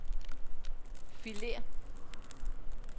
filer